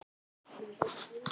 Hvað um átta mánaða bann?